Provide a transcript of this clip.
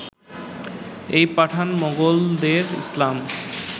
এই পাঠান-মোগলদের ইসলাম